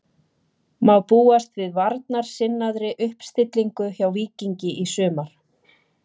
Má búast við varnarsinnaðri uppstillingu hjá Víkingi í sumar?